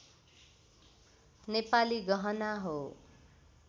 नेपाली गहना हो